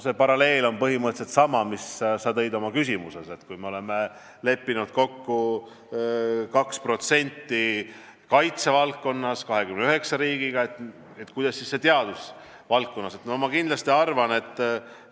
See paralleel on põhimõtteliselt sama, mis sa tõid oma küsimuses, et me oleme leppinud 29 riigiga kokku, et kaitsevaldkonna osa on 2%.